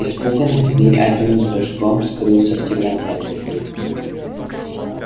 испуганный зверь одним прыжком скрылся в темноте